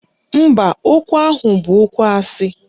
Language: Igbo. Mba, okwu ahụ bụ okwu asị